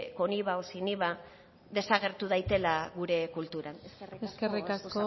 con iva o sin iva desagertu daitela gure kulturan eskerrik asko eskerrik asko